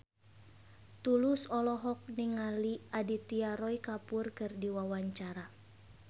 Tulus olohok ningali Aditya Roy Kapoor keur diwawancara